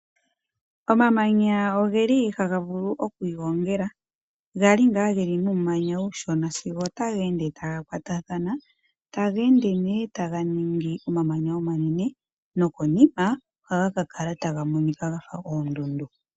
Omamanya ogeli hagavulu okwiigongela, gali ngaa geli muumanya uushona sigo taga ende tagakwatathana, taga ende taganingi omamanya omanene nokonima ohagakala taga monika gafa oondundu.